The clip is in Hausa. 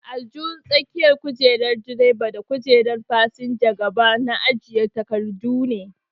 Aljihun tsakiyar kojerar direba da kujerar fasinjan gaba na ajiye takardu ne.